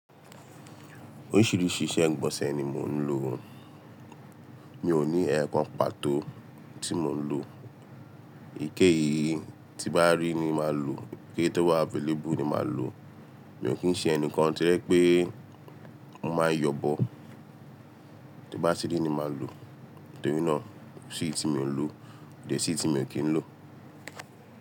Oríṣìíríṣìí iṣẹ́ ìgbọ̀nsẹ̀ ni mò ń lò. Mi ò ní ẹẹ́kan pàtó tí mò ń lò. Iké yìí tí bá rí ni màá lò, iké tó wà available ni màá lò. Mi ò kí ń ṣe ẹnìkan tójẹ̀ pé mó máa yọ̀bọ̀. Bó bá ti rí ni màá lò, torínà kó sí ì tí miò ń lò, dẹ̀ sí ì tí miò kí ń lò.